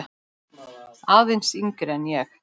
Aðeins yngri en ég.